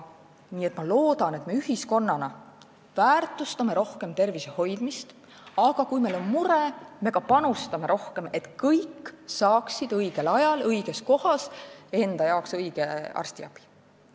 Nii et ma loodan, et me ühiskonnana väärtustame rohkem tervise hoidmist, aga kui meil on mure, siis me ka panustame rohkem, et kõik saaksid õigel ajal õiges kohas enda jaoks õiget arstiabi.